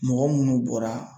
Mɔgɔ munnu bɔra